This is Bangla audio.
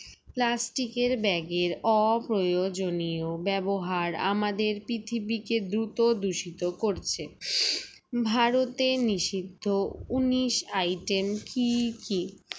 plastic এর bag এর অপ্রয়োজনীয়' ব্যবহার আমাদের পৃথিবীতে দ্রুত দূষিত করছে ভারতে নিষিদ্ধ উনিশ item কি কি